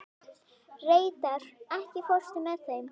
Reidar, ekki fórstu með þeim?